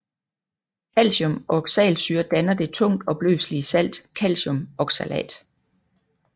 Calcium og oxalsyre danner det tungt opløselige salt calciumoxalat